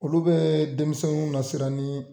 Olu bee denmisɛnw nasiran nii